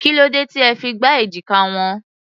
Kí ló dé tí ẹ fi gbá èjìká wọn?